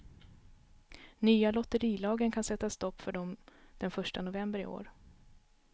Nya lotterilagen kan sätta stopp för dem den första november i år.